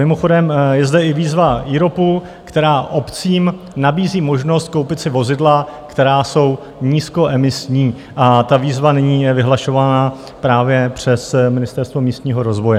Mimochodem, je zde i výzva IROPu, která obcím nabízí možnost koupit si vozidla, která jsou nízkoemisní, a ta výzva nyní je vyhlašovaná právě přes Ministerstvo místního rozvoje.